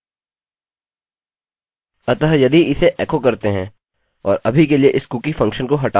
अतः यदि इसे एको करते हैं और अभी के लिए इस कुकी फंक्शन को हटाते हैं